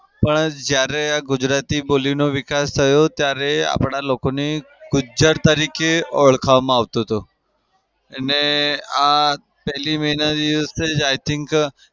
પણ જયારે આ ગુજરાતી બોલીનો વિકાસ થયો ત્યારે આપડા લોકોને ગુજ્જર તરીકે ઓળખવામાં આવતું હતું. અને આ પેલી may ના દિવસે જ i think